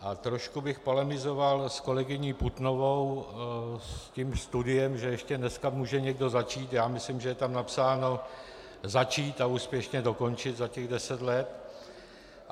A trošku bych polemizoval s kolegyní Putnovou, s tím studiem, že ještě dneska může někdo začít - já myslím, že je tam napsáno začít a úspěšně dokončit za těch deset let.